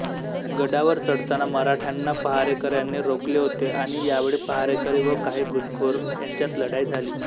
गडावर चढताना मराठ्यांना पहारेकऱ्यांनी रोखले होते आणि यावेळी पहारेकरी व काही घुसखोर यांच्यात लढाई झाली